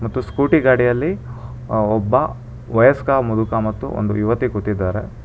ಮತ್ತು ಸ್ಕೂಟಿ ಗಾಡಿಯಲ್ಲಿ ಒಬ್ಬ ವಯಸ್ಕ ಮುದುಕ ಮತ್ತು ಒಂದು ಯುವತಿ ಕೊತಿದ್ದಾರೆ.